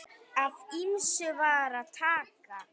Af ýmsu var að taka.